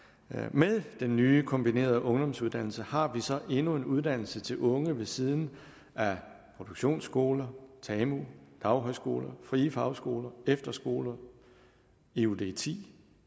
med den nye kombinerede ungdomsuddannelse har vi så endnu en uddannelse til unge ved siden af produktionsskoler tamu daghøjskoler frie fagskoler efterskoler eud ti